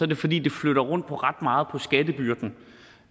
det fordi det flytter rundt på ret meget